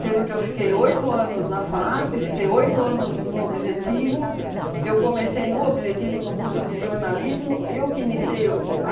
que eu fiquei oito anos na FAAP, fiquei oito anos no Objetivo, eu comecei no Objetivo no curso de jornalismo, eu que iniciei o a